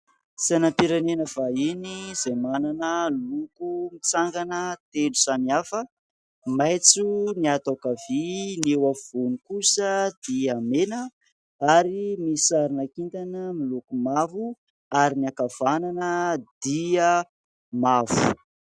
Sainam-pirenena vahiny izay manana loko mitsangana telo samy hafa. Maitso ny ato ankavia, ny eo afovoany kosa dia mena ary misy sarina kintana miloko mavo ary ny ankavanana dia mavo.